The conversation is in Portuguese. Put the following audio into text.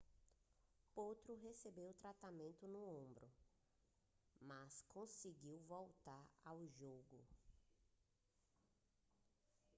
potro recebeu tratamento no ombro mas conseguiu voltar ao jogo